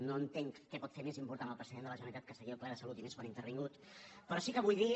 no entenc què pot fer més important el president de la generalitat que seguir el ple de salut i més quan ha intervingut però sí que vull dir